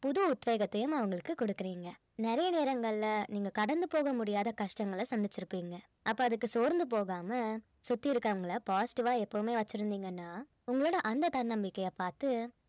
புது உத்வேகத்தையும் அவங்களுக்கு குடுக்குறீங்க நிறைய நேரங்கள்ல நீங்க கடந்து போக முடியாத கஷ்டங்கள சந்திச்சிருப்பீங்க அப்ப அதற்கு சோர்ந்து போகாம சுத்தி இருக்கிறவங்கள positive ஆ எப்பவுமே வெச்சிருந்தீங்கன்னா உங்களோட அந்த தன்னம்பிக்கைய பார்த்து